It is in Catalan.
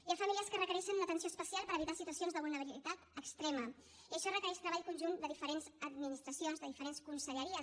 hi ha famílies que requereixen una atenció especial per evitar situacions de vulnerabilitat extrema i això requereix treball conjunt de diferents administracions de diferents conselleries